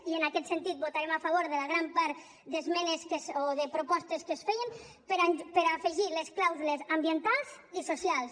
i en aquest sentit votarem a favor de gran part de propostes que es feien per afegir les clàusules ambientals i socials